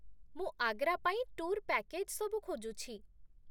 ମୁଁ ଆଗ୍ରା ପାଇଁ tour package ସବୁ ଖୋଜୁଛି।